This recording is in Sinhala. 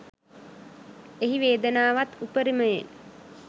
එහි වේදනාවත් උපරිමයෙන්